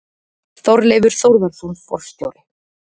Þorleifur Þórðarson forstjóri.